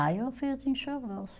Ah, eu fiz o enxoval sim.